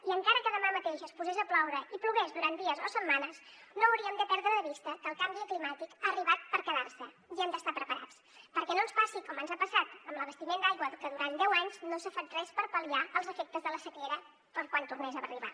i encara que demà mateix es posés a ploure i plogués durant dies o setmanes no hauríem de perdre de vista que el canvi climàtic ha arribat per quedar se i hem d’estar preparats perquè no ens passi com ens ha passat amb l’abastiment d’aigua que durant deu anys no s’ha fet res per pal·liar els efectes de la sequera per quan tornés a arribar